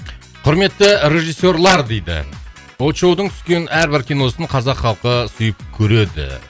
құрметті режиссерлар дейді очоудың түскен әрбір киносын қазақ халқы сүйіп көреді